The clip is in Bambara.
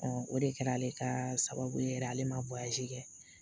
o de kɛra ale ka sababu ye yɛrɛ ale ma kɛ